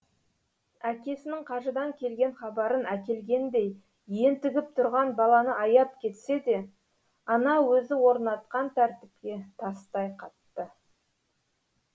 әкесінің қажыдан келген хабарын әкелгендей ентігіп тұрған баланы аяп кетсе де ана өзі орнатқан тәртіпке тастай қатты